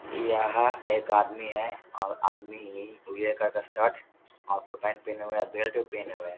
यहाँ एक आदमी है और आदमी उजले कलर का शर्ट और फुल पेंट पिन्हे हुए है और बेल्ट भी पिन्हे हुए है।